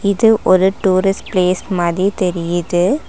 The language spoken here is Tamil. இது ஒரு டூரிஸ்ட் பிளேஸ் மாதி தெரியிது.